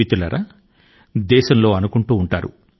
మిత్రులారా మన వాళ్లు ఈ మాటలు అంటాప్తారు